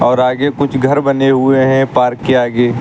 और आगे कुछ घर बने हुए हैं पार्क के आगे।